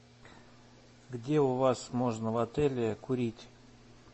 где у вас можно в отеле курить